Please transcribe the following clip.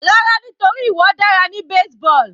Rárá nítorí ìwọ dára ní baseball.